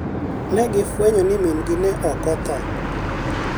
ne gifwenyo ni min-gi ne ok otho.